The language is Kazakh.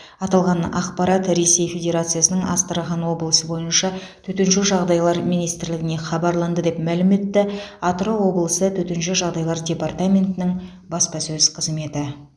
аталған ақпарат ресей федерациясының астрахан облысы бойынша төтенше жағдайлар министрлігіне хабарланды деп мәлім етті атырау облысы төтенше жағдайлар департаментінің баспасөз қызметі